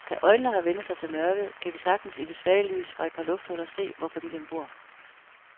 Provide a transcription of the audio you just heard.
Da øjnene har vænnet sig til mørket, kan vi sagtens i det svage lys fra et par lufthuller se, hvordan familien bor.